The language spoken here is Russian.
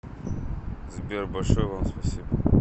сбер большое вам спасибо